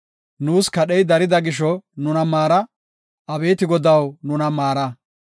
Nuus kadhey darida gisho, nuna maara; abeeti Godaw, nuna maara.